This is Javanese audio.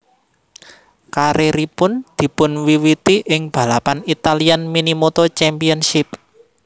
Karieripun dipunwiwiti ing balapan Italian Minimoto Championship